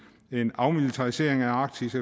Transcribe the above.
en afmilitarisering af arktis